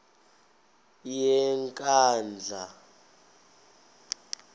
yenkandla